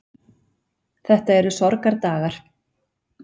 Þetta eru sorgardagar.